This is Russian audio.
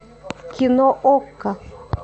кино окко